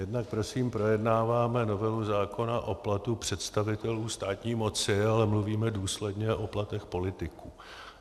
Jednak prosím projednáváme novelu zákona o platu představitelů státní moci, ale mluvíme důsledně o platech politiků.